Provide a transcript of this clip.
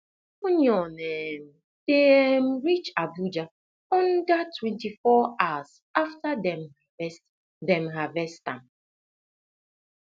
onion um dey um reach abuja under twenty four hours after dem dem harvest am